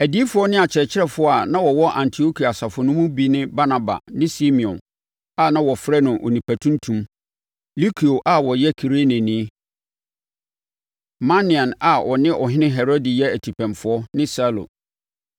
Adiyifoɔ ne akyerɛkyerɛfoɔ a na wɔwɔ Antiokia asafo no mu bi ne Barnaba ne Simeon, a na wɔfrɛ no “Onipa Tuntum,” Lukio a ɔyɛ Kireneni, Manaen, a ɔne Ɔhene Herode yɛ atipɛnfoɔ, ne Saulo.